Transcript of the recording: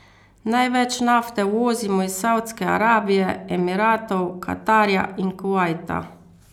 Največ nafte uvozimo iz Saudske Arabije, Emiratov, Katarja in Kuvajta.